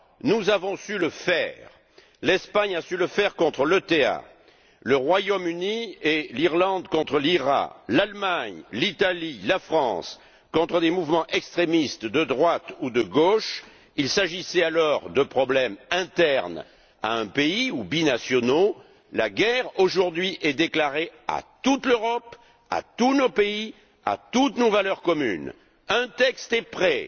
Nous avons su le faire l'Espagne a su le faire contre l'ETA, le Royaume Uni et l'Irlande contre l'IRA, l'Allemagne, l'Italie et la France contre des mouvements extrémistes de droite ou de gauche. Il s'agissait alors de problèmes internes à un pays, ou binationaux. La guerre est aujourd'hui déclarée à toute l'Europe, à tous nos pays, à toutes nos valeurs communes. Un texte est prêt!